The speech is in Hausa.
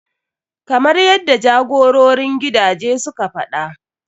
Kamar yaddai jagororin gidaje suka faɗa.